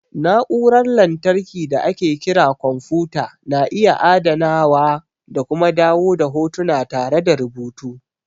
Na'urar lantarki da ake kira kwamfuta na iya adanawa da kuma dawo da hotuna tare da rubutu.